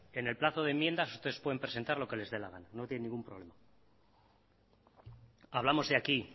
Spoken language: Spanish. en el plazo de enmiendas ustedes pueden presentar lo que les dé la gana no tienen ningún problema hablamos de aquí